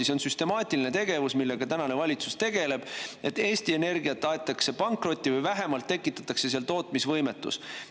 See on süstemaatiline tegevus, millega tänane valitsus tegeleb: Eesti Energiat aetakse pankrotti või vähemalt tekitatakse tootmisvõimetus.